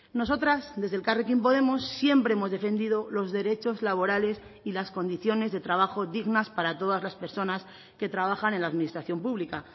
nosotras desde elkarrekin podemos siempre hemos defendido los derechos laborales y las condiciones de trabajo dignas para todas las personas que trabajan en la administración pública